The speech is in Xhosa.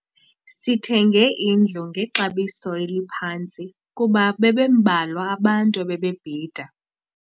Sithenge indlu ngexabiso eliphantsi kuba bebembalwa abantu ebebebhida.